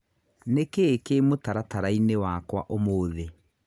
Nĩ kĩĩ kĩĩ mũtaratara-inĩ wakwa ũmũthĩ.?